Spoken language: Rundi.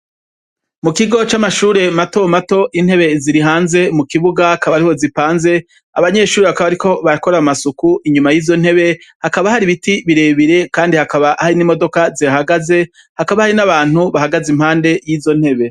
Mukigo camashure mato mato intebe ziri hanze mukibuga akabariho zipanze abanyeshure bakaba bariko barakora amasuku inyuma yizontebe hakaba hari ibiti birebire kandi hakaba hari imodoka zihahagaze hakaba hari nabantu bahagaze yizontebe